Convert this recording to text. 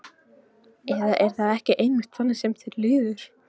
Eða er það ekki einmitt þannig sem þér líður?